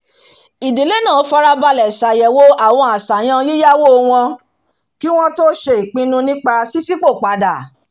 ìdílé náà farabalẹ̀ ṣàyẹ̀wò àwọn àṣàyàn yíyáwó wọn kí wọ́n tó ṣe ìpinnu nípa ṣíṣípò padà